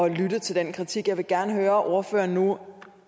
at lytte til den kritik jeg vil gerne høre om ordføreren nu